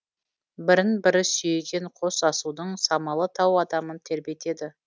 бірін бірі сүйеген қос асудың самалы тау адамын тербетеді